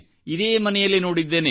ಇದೇ ಮನೆಯಲ್ಲಿ ನೋಡಿದ್ದೇನೆ